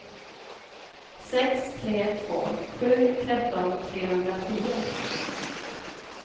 sex tre två sju tretton trehundratio